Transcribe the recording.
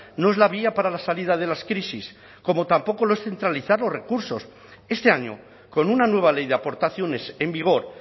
no es la vía para la salida de las crisis como tampoco lo es centralizar los recursos este año con una nueva ley de aportaciones en vigor